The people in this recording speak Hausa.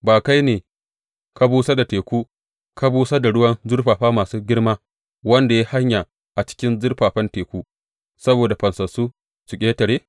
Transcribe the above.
Ba kai ba ne ka busar da teku, ka busar da ruwan zurfafa masu girma, wanda ya yi hanya a cikin zurfafan teku saboda fansassu su ƙetare?